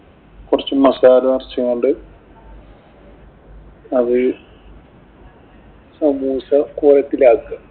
കൊറച്ച് മസാല നിറച്ചു കൊണ്ട് അത് സമൂസ കോലത്തിലാക്കുക.